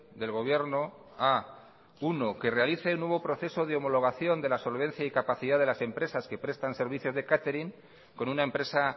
del gobierno a que realice nuevo proceso de homologación de la solvencia y capacidad de las empresas que prestan servicios de catering con una empresa